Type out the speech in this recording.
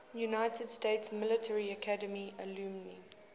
united states military academy alumni